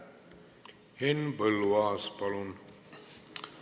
Henn Põlluaas, palun!